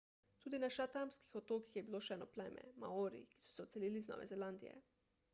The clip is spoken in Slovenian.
tudi na chathamskih otokih je bilo še eno pleme maori ki so se odselili z nove zelandije